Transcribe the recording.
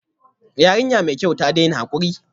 Yarinya mai kyau, ta daina hakuri